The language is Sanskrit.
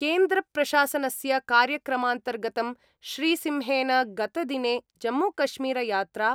केन्द्रप्रशासनस्य कार्यक्रमान्तर्गतं श्रीसिंहेन गतदिने जम्मूकश्मीरयात्रा